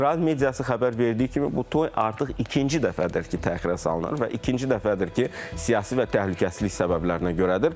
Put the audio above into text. İsrail mediası xəbər verdiyi kimi, bu toy artıq ikinci dəfədir ki, təxirə salınır və ikinci dəfədir ki, siyasi və təhlükəsizlik səbəblərinə görədir.